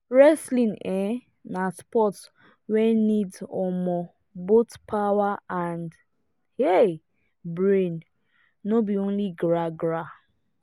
wrestling um na sport wey need um both power and um brain no be only gra-gra.